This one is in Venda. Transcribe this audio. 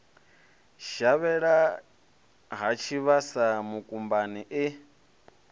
shavhela ha tshivhasa mukumbani e